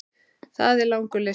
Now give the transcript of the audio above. Það er langur listi.